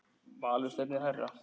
Valur stefnir hærra.